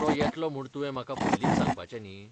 तो येतलो म्हूण तुवें म्हाका पयलींच सांगपाचें न्ही.